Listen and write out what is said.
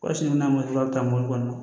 Waati min na mɔtɛ a bɛ taa mobili kɔnɔ